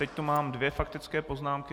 Teď tu mám dvě faktické poznámky.